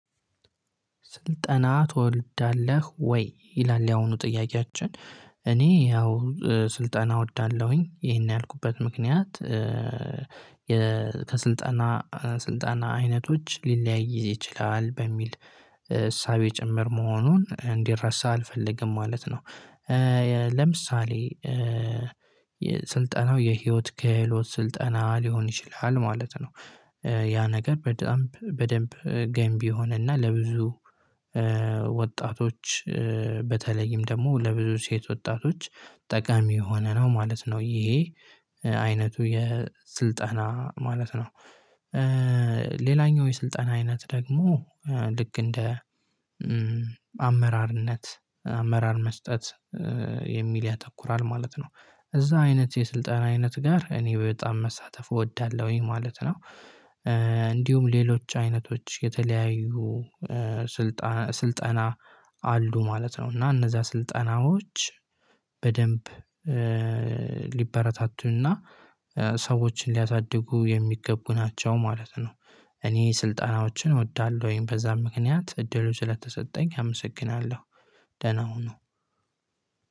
ስልጠና ትወልዳለህ ወይ? ይላል ያሁኑ ጥያቄያችን እኔ ያው ስልጠና አወዳለሁኝ ይሄን ያልኩበት ምክንያት ከስልጣና ስልጣና አይነቶች ሊለያይ ይችላል በሚል እሳቤ ጭምር መሆኑን እንዲረሳ አልፈልግም ማለት ነው። ለምሳሌ ስልጠናው የህይወት ክህሎት ስልጠና ሊሆን ይችላል ማለት ነው። ያ ነገር በደንብ በደንብ ገንቢ ሆነና ለብዙ ወጣቶች በተለይም ደግሞ ለብዙ ሴት ወጣቶች ጠቃሚ የሆነ ነው ማለት ነው ይሄ አይነቱ የስልጠና ማለት ነው። ሌላኛው የስልጠና አይነት ደግሞ ልክ እንደ አመራርነት አመራር መስጠት የሚል ያተኩራል ማለት ነው። እዛ አይነት የስልጣና አይነት ጋር እኔ በጣም መሳተፍ እወዳለሁ ይሄ ማለት ነው። እንዲሁም ሌሎች አይነቶች የተለያዩ ስልጠና አሉ ማለት ነው እና እነዛ ስልጠናዎች በደንብ ሊበረታቱና ሰዎችን ሊያሳድጉ የሚገቡ ናቸው ማለት ነው። እኔ ስልጣኖችን እወዳለሁኝ በዛም ምክንያት እድሉ ስለተሰጠኝ አመሰግናለሁ። ደህና ሁኑ።